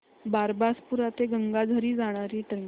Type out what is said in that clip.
बारबासपुरा ते गंगाझरी जाणारी ट्रेन